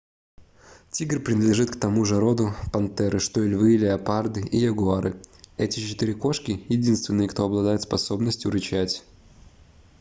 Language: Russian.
тигр принадлежит к тому же роду пантеры что и львы леопарды и ягуары. эти четыре кошки — единственные кто обладает способностью рычать